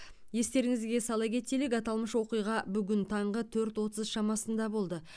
естеріңізге сала кетелік аталмыш оқиға бүгін таңғы төрт отыз шамасында болды